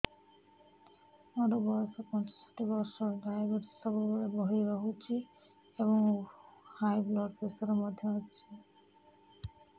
ମୋର ବୟସ ପଞ୍ଚଷଠି ବର୍ଷ ଡାଏବେଟିସ ସବୁବେଳେ ବଢି ରହୁଛି ଏବଂ ହାଇ ବ୍ଲଡ଼ ପ୍ରେସର ମଧ୍ୟ ଅଛି